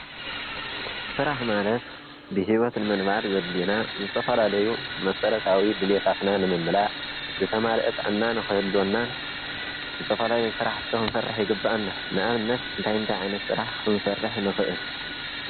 ስራሕ ማለት ብሂወት ንምንባር ዘድልዩና ዝተፈላለዩ ማሰረታዊ ድልየታትና ንምምላእ፤ ዝተማለአ ጥዕና ንክህልወናን ፤ ዝተፈላለዩ ስራሕቲ ክንሰርሕ ይግበአና፡፡ ንኣብነት እንይታ እንታይ ዓይነት ስራሕ ክንሰርሕ ንኽእል?